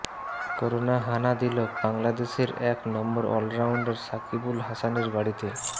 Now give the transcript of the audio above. corona হানা দিল বাংলাদেশের এক নম্বর অলরাউন্ডার সাকিব আল হাসানের বাড়িতে